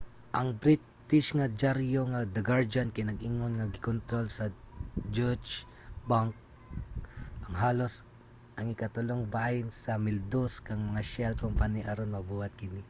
ang british nga dyaryo nga the guardian kay nag-ingon nga gikontrol sa deutsche bank ang halos ang ikatulong bahin sa 1200 ka mga shell company aron mabuhat kini